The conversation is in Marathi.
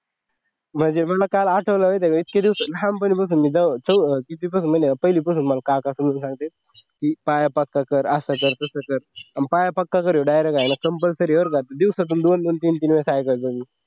म्हणजे मला काल आठवलं माहिती आहे का इतक्या दिवसात लहानपणीपासून मी जेव्हा किती पासून म्हणे पहिलीपासून मला काका सांगते पाया पक्का कर असं कर तसं कर आणि पाया पक्का करने आता direct compulsory आहे बरं का दिवसातून दोन दोन तीन तीन वेळेस काय करते ते